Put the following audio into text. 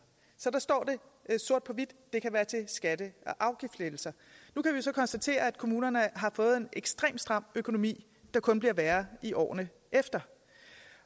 så der står det sort på hvidt det kan være til skatte og afgiftslettelser nu kan vi så konstatere at kommunerne har fået en ekstremt stram økonomi der kun bliver værre i årene efter